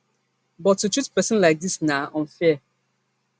but to treat pesin like dis na unfair